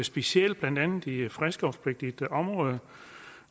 specielt blandt andet i fredskovspligtigt område